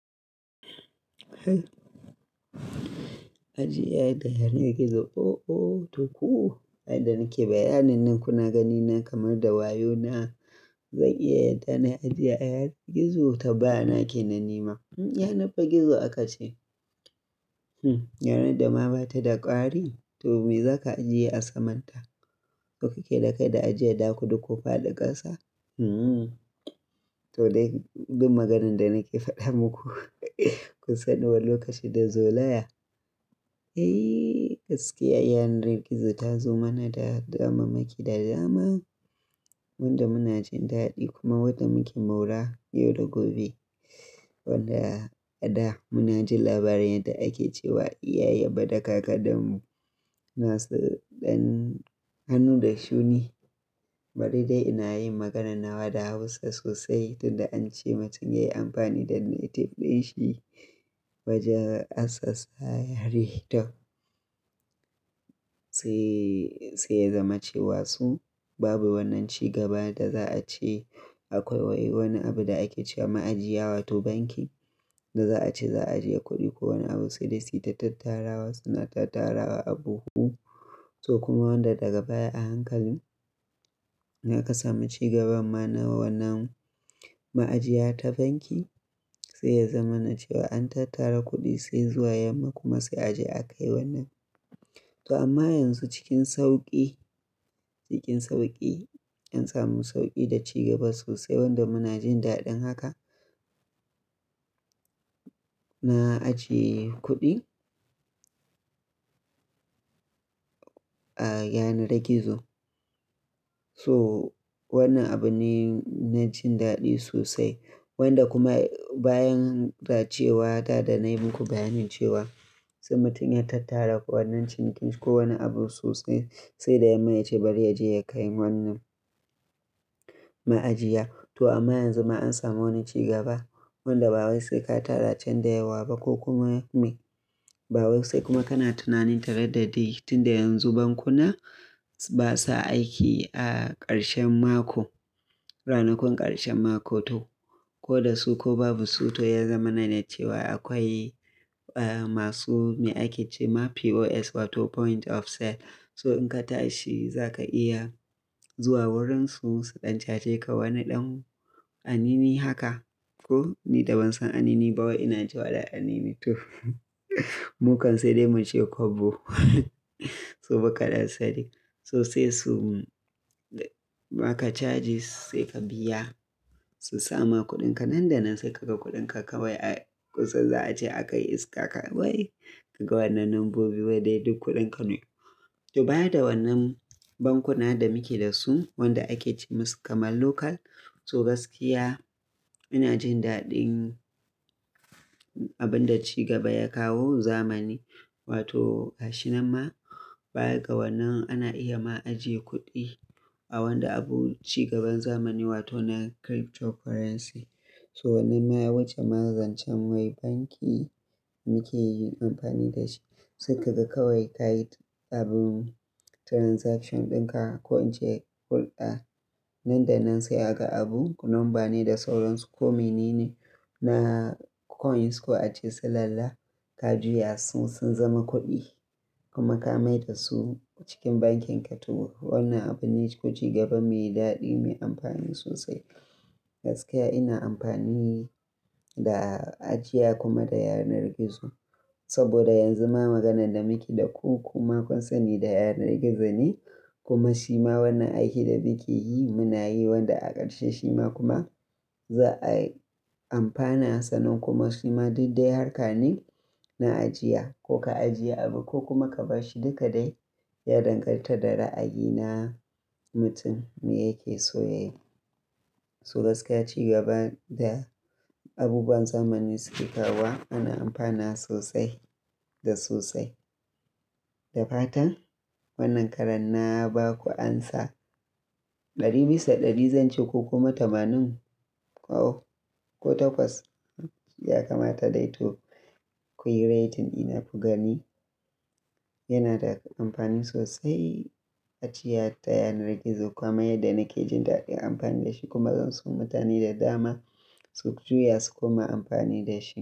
Ajiya da yanar gizo. Oh, oh toku! Ai da nake bayyanin kunagani na kamar da wayona. Zan iya adana ajiya yanar gizo? Tabbana ke nanima. Yanar ba gizo aka ce. Yanar da ma ba ta da ƙari to me za ka ajiye a saman ta? Ko kake dakai da ajiye ɗakuda ko faɗa ƙasa? To dai duk maganan da nake faɗa muku kusan lokaci da zo laya. Eh gaskiya, yanar gizo ta zo mana da damammaki da dama. Wanda muna jin daɗi kuma wanda muke maura yau da gobe. Wanda a da muna jin labarin yadda ake cewa iyaye bada kaka danmu nasu ɗan hannu da shuni. Bari dai ina yin magana nawa da Hausa sosai tunda an ce mutum yayi amfani da native dinshi wajen asasa. Sai, sai ya zama cewa su babu wannan cigaba da za a ce akwai wai wani abu da ake ce ma'ajiya wato banki da za a ce za a ajiye kuɗi ko wani abu. Sai dai su ta tattarawa suna tattara wa abu huhu. To kuma wanda daga baya a hankali ya kasamu cigaban ma na wannan ma'ajiya ta banki sai ya zama na cewa an tattara kuɗi sai zuwa yamma kuma sai a je a kai wannan. To amma yanzu cikin sauƙi, cikin sauƙi an samu sauƙi da cigaba sosai wanda muna jin daɗin haka. Na ajiye kuɗi a yanar gizo. So wannan abu ne na jin daɗi sosai. Wanda kuma bayan za cewa da da na yi muku bayanin cewa sai mutum ya tattara wannan cinikin ko wani abu sosai sai da yamma ya ce bari yaje ya kai wannan ma'ajiya. To amma yanzu ma an samu wani cigaba wanda ba wai sai ka tara can da yawa ba ko kuma me. Ba wai sai kuma kana tunanin tare da dai tunda yanzu bankuna basa aiki a ƙarshen mako. Ranakun ƙarshen mako to. Ko da su ko babu su to ya zama na ne cewa akwai eh masu me ake ce ma POS wato point of sale. So in ka tashi za ka iya zuwa wurin su su ɗan cace ka wani ɗan anini haka. To ni da ban san anini ba wai ina cewa da anini to. Mukan sai dai mu ce kobo. To ba kaɗan sani. Sosai su ma ka charge sai ka biya su sama kuɗinka nan da nan sai ka ga kuɗinka ka wai a kusa za a ce a kai iska ka wai ka ga wannan lambobi wai dai duk kuɗin ka ne. To baya da wannan bankuna da muke da su wanda ake ce masu kamar local. To gaskiya ina jin daɗin abin da cigaba ya kawo zamani wato ƙashi nan ma bayan gabanin ana iya ma ajiye kuɗi a wanda abu cigaban zamani wato na cryptocurrency. To wannan ma wajen maranzancen wai banki muke yin amfani da shi sai ka ga kawai kayi abun transaction ɗinka ko in ce hulɗa. Nan da nan sai aka abu number ne da sauransu ko menene na coin su ake ce su lalla ka juya su sun zama kuɗi kuma ka mai da su cikin bankin ka. To wannan abu ne ko cigaba me daɗi me amfani sosai. Gaskiya ina amfani da ajiya kuma da yanar gizo. Saboda yanzu ma maganan da muke da ku kuma kusan ne da yanar gizo ne kuma shi ma wannan aiki da muke yi muna yi wanda a ƙarshe shi ma kuma za'a amfana sanan kuma shi ma daddare harka ne na ajiya ko ka ajiye abu ko kuma ka bashi duka dai ya danganta da ra'ayi na mutum me yake so ya yi. So gaskiya cigaba da abubuwan zamani suke kawo ana amfana sosai da sosai. Da fatan wannan karan na ba ku amsa ɗari bisa ɗari zan ce ko kuma tamanin ko oh ko takwas ya kamata dai to koyi rating ina ku gani. Yana da amfani sosai ajiya ta yanar gizo kuma yadda nake jin daɗin amfani da shi kuma zan so mutane da dama su juya su kuma amfani da shi.